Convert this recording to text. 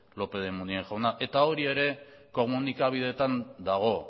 lópez de munain jauna eta hori ere komunikabideetan dago